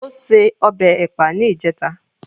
Ó se ọbẹ̀ Ẹ̀pà ní ìjẹta